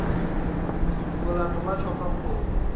molato wa tšwa ka kgoro